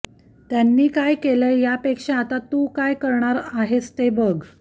त्यांनी काय केलंय यापेक्षा आता तू काय करणार आहेस ते बघं